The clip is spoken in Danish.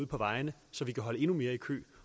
på vejene så vi kan holde endnu mere i kø